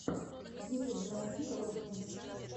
в ютьюбе найти ролики